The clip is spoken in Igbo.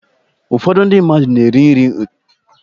Ụfọdụ ndị mmadụ na-eri nri ụtụtụ na bedruum ha